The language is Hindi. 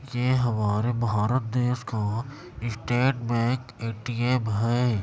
ये हमारे भारत देश का स्टेट बैंक ए_टी_एम है।